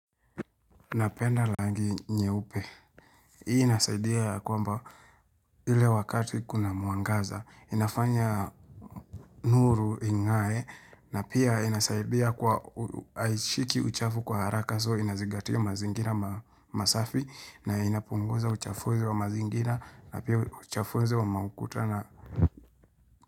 Napenda langi nyeupe. Hii inasaidia ya kwamba ile wakati kuna mwangaza. Inafanya nuru ing'ae na pia inasaidia kwa aishiki uchafu kwa haraka so inazingatia mazingira masafi na inapunguza uchafuzi wa mazingira na pia uchafuzi wa maukuta na.